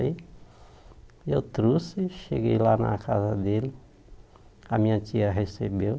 Aí eu trouxe, cheguei lá na casa dele, a minha tia recebeu.